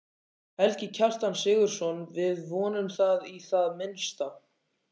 Helgi Kjartan Sigurðsson: Við vonum það í það minnsta?